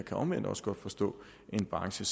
kan omvendt også godt forstå en branche